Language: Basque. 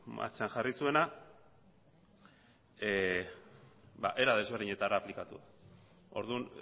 martxan jarri zuena era ezberdinetara aplikatuz orduan